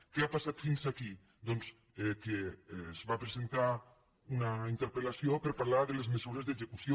què ha passat fins aquí doncs que es va presentar una interpel·lació per parlar de les mesures d’execució